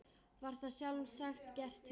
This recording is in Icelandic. Var það sjálfsagt gert til öryggis.